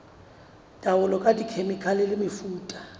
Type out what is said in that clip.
taolo ka dikhemikhale le mefuta